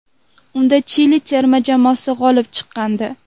Unda Chili terma jamoasi g‘olib chiqqandi.